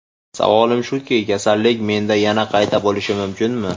Savolim shuki, kasallik menda yana qayta bo‘lishi mumkinmi?